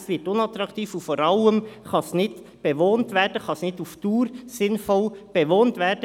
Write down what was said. Es wird unattraktiv, und vor allem kann es auf die Dauer nicht sinnvoll bewohnt werden.